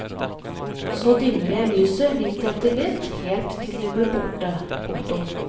Så dimmer jeg lyset litt etter litt helt til det blir borte. punktum